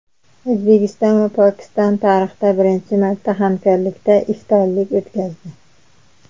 O‘zbekiston va Pokiston tarixda birinchi marta hamkorlikda iftorlik o‘tkazdi.